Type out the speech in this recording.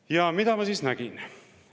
Ja mida ma nägin?